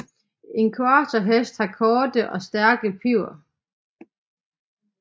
En quarter hest har korte og stærke piber